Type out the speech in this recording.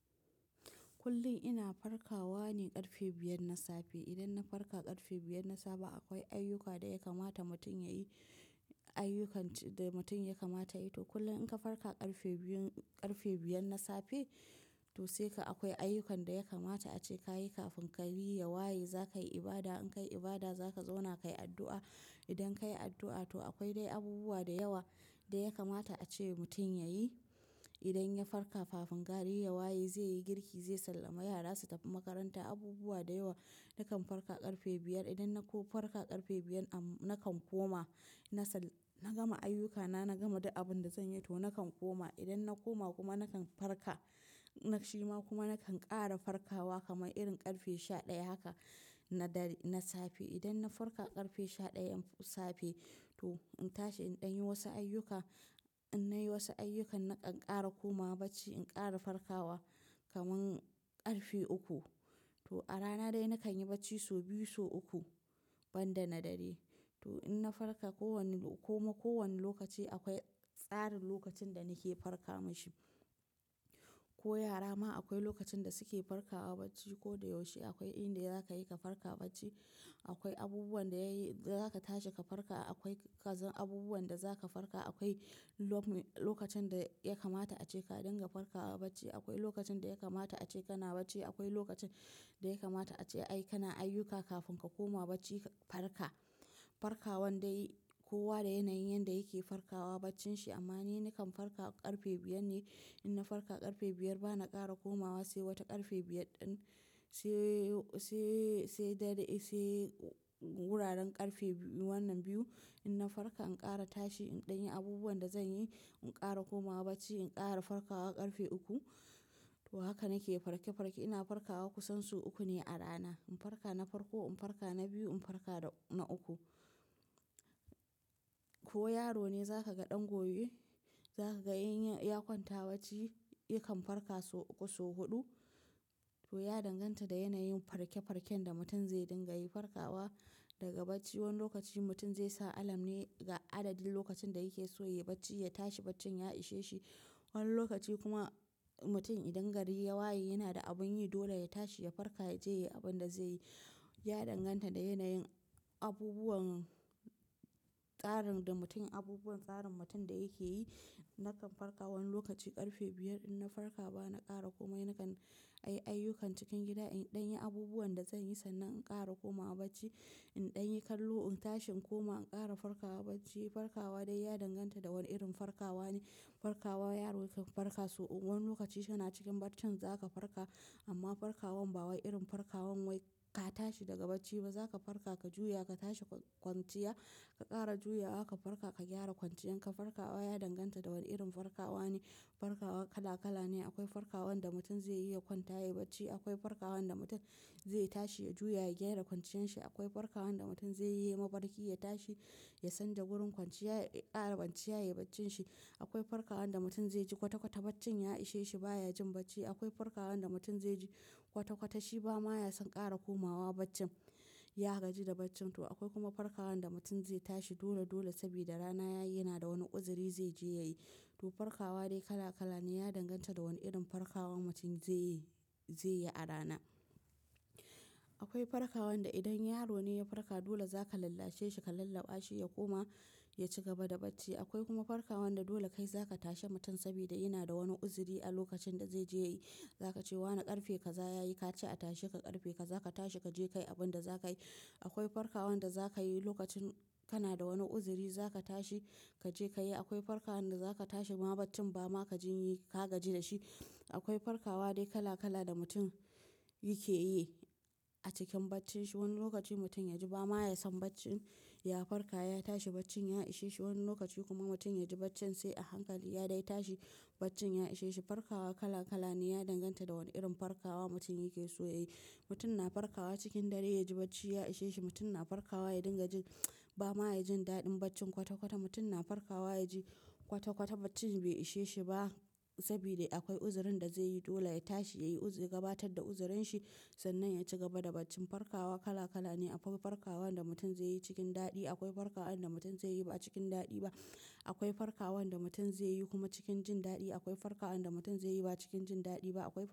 Kullum ina farkawa ne ƙarfe biyar na safe. Idan na farka ƙarfe biyar na safe akwai ayyuka da ya kamata mutum yayi, ayyukan da mutum ya kamata yayi to kullum in ka farka ƙarfe biyun, ƙarfe biyar na safe to sai ka akwai ayyukan da ya kamata ace ka yi kafin gari ya waye za ka yi ibada, in ka yi ibada za ka zauna ka yi addu'a. Idan ka yi addu'a to akwai dai abubuwa da yawa da ya kamata ace mutum ya yi. Idan ya farka kafin gari yawa yi zai yi girki, zai sallame yara su tafi makaranta abubuwa da yawa nakan farka ƙarfe biyar. Idan na ko farka ƙarfe biyar nakan koma na sal-- na gama ayyukana na gama duk abin da zan yi to nakan koma. Idan na koma kuma nakan farka, na shima kuma nakan ƙara farkawa kamar irin ƙarfe sha ɗaya haka na dare, na safe. Idan na farka ƙarfe sha ɗayan safe to in tashi in ɗan yi wasu ayyuka, in na yi wasu ayyukan nakan ƙara komawa bacci, in ƙara farkawa kamar ƙarfe uku. To a rana dai nakan yi bacci so biyu so uku ban da na dare. To in na farka kowane ko ma ko wane lokaci akwai tsarin lokacin da nake farka mashi. Ko yara ma akwai lokacin da suke farkawa bacci ko da yaushe akwai inda ya zaka yi ka farka bacci. Akwai abubuwan da yayi zaka tashi ka farka akwai kazan abubuwan da zaka farka akwai lok-- lokacin da ya kamata ace ka dinga farkawa bacci. Akwai lokacin da ya kamata ace kana bacci, akwai lokacin da ya kamata ace ai kana ayyuka kafin ka koma bacci ka farka. Farkawa dai kowa da yanayin yanda yake farkawa baccin shi amma ni nakan farka ƙarfe biyar ne. In na farka ƙarfe biyar bana ƙara komawa sai wata ƙarfe biyar ɗin sai, sai, sai dare, sai wuraren ƙarfe wannan biyu. In na farka in ƙara tashi in ɗan yi abubuwan da zan yi in ƙara komawa bacci, in ƙara farkawa ƙarfe uku. To haka nake farke-farke ina farkawa kusan so uku ne a rana. In farka na farko, in farka na biyu, in farka na uku. Ko yaro ne za ka ga ɗan goye, za ka ga in ya, ya kwanta bacci yakan farka so uku so huɗu. To ya danganta da yanayin farke-farken da mutum zai dinga yi farkawa daga bacci. Wani lokaci mutum zai sa alam ne ga adadin lokacin da yake so ya yi bacci, ya tashi baccin ya ishe shi. Wani lokaci kuma mutum idan gari ya waye yana da abin yi dole ya tashi ya farka ya je yayi abin da zai yi. Ya danganta da yanayin abubuwan tsarin da mutum abubuwan tsarin mutum da yake yi. Nakan farka wani lokaci ƙarfe biyar in na farka bana ƙara komai na kan ayi ayyukan cikin gida in ɗan yi abubuwan da zan yi sannan in ƙara komawa bacci. In ɗan yi kallo in tashi in koma in ƙara farkawa bacci. Farkawa dai ya danganta da wane irin farkawa ne. Farkawa yaro yakan farka so uku wani lokaci yana cikin baccin zaka farka amma farkawan ba wai irin farkawan wai ka tashi daga bacci ba zaka farka ka juya ka tashi kwanciya, ka ƙara ju yawa ka farka ka gyara kwanciyan ka. Farkawa ya danganta da wane irin farkawa ne. Farkawa kala-kala ne. Akwai farkawan da mutum zai yi ya kwanta ya yi bacci, akwai farkawan da mutum zai tashi ya juya ya gyara kwanciyan shi, akwai farkawan da mutum zai yi mafarki ya tashi ya canja wurin kwanciya, ya ƙara kwanciya yayi baccin shi. Akwai farkawan da mutum zai ji kwata-kwata baccin ya ishe shi baya jin bacci. Akwai farkawan da mutum zai ji kwata-kwata shi ba ma ya san ƙara komawa baccin, ya gaji da baccin. To akwai kuma farkawan da mutum zai tashi dole-dole sabida rana yayi yana da wani uzuri zai je ya yi. To farkawa dai kala-kala ne ya danganta da wane irin farkawa mutum zai yi, zai yi a rana. Akwai farkawan da idan yaro ne ya farka dole zaka lalashe shi ka lalla ba shi ya koma ya ci gaba da bacci. Akwai kuma farkawan da dole kai za ka tashi mutum sabida yana da wani uzuri a lokacin da zai je ya yi. Zaka ce wane ƙarfe ka za ya yi ka ce a tashi ka ƙarfe ka za ka tashi ka je ka yi abin da za ka yi. Akwai farkawan da za ka yi lokacin kana da wani uzuri za ka tashi ka je ka yi. Akwai farkawan da za ka tashi ma baccin ba ma ka jin yi ka gaji da shi. Akwai farkawa dai kala-kala da mutum yake yi a cikin baccin shi. Wani lokaci mutum ya ji ba ma ya san baccin ya farka ya tashi baccin ya ishe shi. Wani lokaci kuma mutum ya ji baccin sai a hankali ya dai tashi baccin ya ishe shi. Farkawa kala-kala ne ya danganta da wane irin farkawa mutum yake so ya yi. Mutum na farkawa cikin dare ya ji bacci ya ishe shi. Mutum na farkawa ya dinga jin ba ma ya jin daɗin baccin kwata-kwata. Mutum na farkawa ya ji kwata-kwata baccin bai ishe shi ba sabida akwai uzurin da zai yi dole ya tashi ya yi uzuri gabatar da uzurin shi sannan ya ci gaba da bacci. Farkawa kala-kala ne. Akwai farkawan da mutum zai yi cikin daɗi, akwai farkawan da mutum zai yi ba cikin daɗi ba. Akwai farkawan da mutum zai yi kuma cikin jin daɗi. Akwai farkawan da mutum zai yi ba cikin jin daɗi ba. Akwai.